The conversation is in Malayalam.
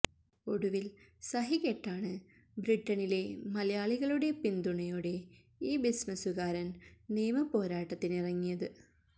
ഒടുവില് സഹിക്കെട്ടാണ് ബ്രിട്ടനിലെ മലയാളികളുടെ പിന്തുണയോടെ ഈ ബിസിനസുകാരന് നിയമ പോരാട്ടത്തിനിറങ്ങിയത്